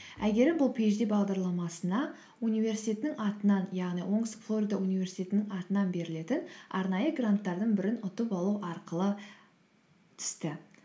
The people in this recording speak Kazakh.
әйгерім бұл пиэйчди бағдарламасына университетінің атынан яғни оңтүстік флорида университетінің атынан берілетін арнайы гранттардың бірін ұтып алу арқылы түсті